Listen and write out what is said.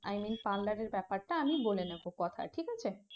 i mean parlour এর ব্যাপারটা আমি বলে নেব কথা ঠিক আছে